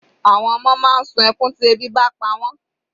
Àwọn ọmọ máa ń sun ẹkún tí ebi bá pa wọ́n.